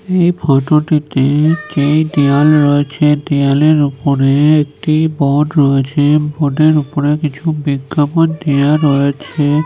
এই ফটো টিতে যেই দেওয়াল রয়েছে দেওয়াল এর উপরে একটি বোর্ড রয়েছে বোর্ডের উপরে কিছু বিজ্ঞাপন দেওয়া রয়েছে--